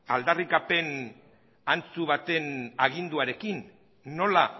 aldarrikapen antzu baten aginduarekin nola